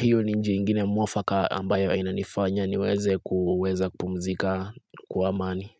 hiyo ni nje ingine mwafaka ambayo inanifanya niweze kuweza kumzika kuamani.